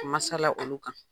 Masala olu kan.